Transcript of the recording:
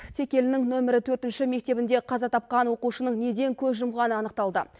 текелінің нөмірі төртінші мектебінде қаза тапқан оқушының неден көз жұмғаны анықталды